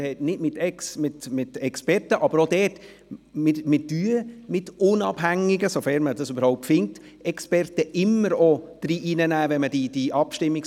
Wenn wir die Abstimmungsbotschaften verfassen, ziehen wir immer unabhängige – sofern sich solche überhaupt finden lassen –, externe Experten bei.